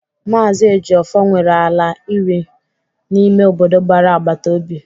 Mazị Ejiofor nwere ala iri n'ime obodo gbara agbata obi.